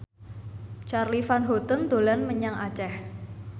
Charly Van Houten dolan menyang Aceh